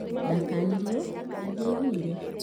Ndakanirio na ndĩaiguire